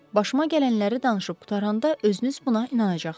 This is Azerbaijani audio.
Başıma gələnləri danışıb qutaranda özünüz buna inanacaqsınız.